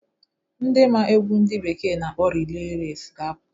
Ndị maa egwu ndị bekee na-akpọ reley resi ga-aputa